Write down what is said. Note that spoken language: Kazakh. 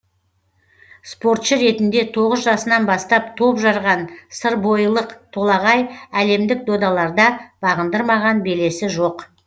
спортшы ретінде тоғыз жасынан бастап топ жарған сырбойылық толағай әлемдік додаларда бағындырмаған белесі жоқ